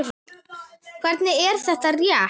Hvernig, er það rétt?